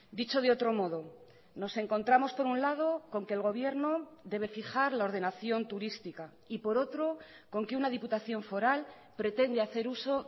dicho de otro modo nos encontramos por un lado con que el gobierno debe fijar la ordenación turística y por otro con que una diputación foral pretende hacer uso